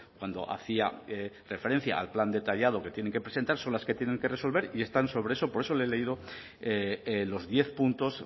cuando hacía referencia al plan detallado que tiene que presentar son las que tienen que resolver y están sobre eso por eso le he leído los diez puntos